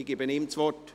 Ich gebe ihm das Wort.